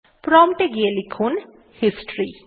prompt এ গিয়ে লিখুন হিস্টরি